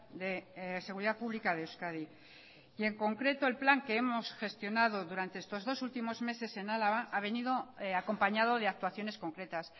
de seguridad pública de euskadi y en concreto el plan que hemos gestionado durante estos dos últimos meses en álava ha venido acompañado de actuaciones concretas